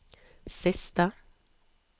siste